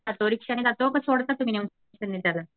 रिक्षाने जातो का तुम्ही जात सोडायला?